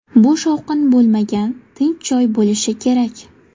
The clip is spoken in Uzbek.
Bu shovqin bo‘lmagan , tinch joy bo‘lishi kerak.